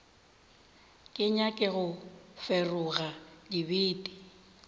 ke nyake go feroga dibete